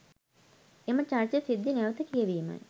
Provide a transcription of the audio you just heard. එම චරිත සිද්ධි නැවත කියවීමයි.